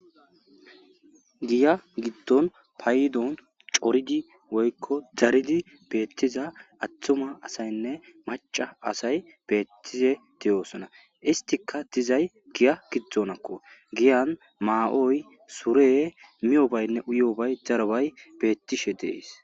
Giya giddon payiddon coridi woyikko daridi bettiza attuma asayinne macca asayi betize de'osona isttika dizayi giya giddonakko giyan ma'oyi sureyi miyobbayinne uyiyobbayi daroyi bettishe deess.